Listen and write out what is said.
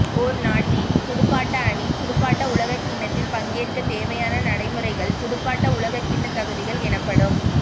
ஓர் நாட்டின் துடுப்பாட்ட அணி துடுப்பாட்ட உலகக்கிண்ணத்தில் பங்கேற்க தேவையான நடைமுறைகள் துடுப்பாட்ட உலகக்கிண்ண தகுதிகள் எனப்படும்